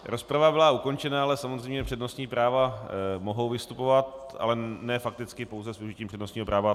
Rozprava byla ukončena, ale samozřejmě přednostní práva mohou vystupovat, ale ne fakticky, pouze s užitím přednostního práva.